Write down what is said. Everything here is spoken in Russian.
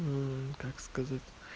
как сказать